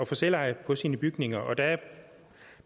få selveje på sine bygninger og der er